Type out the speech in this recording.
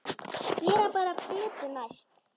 Gera bara betur næst.